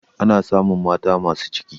ana samun mata masu ciki